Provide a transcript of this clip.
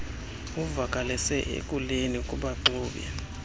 uvakalise ekuleni kubaxumi